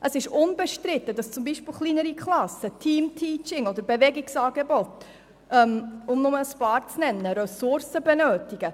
Es ist unbestritten, dass zum Beispiel kleinere Klassen, Teamteaching oder Bewegungsangebote, um nur ein paar Beispiele zu nennen, Ressourcen benötigen.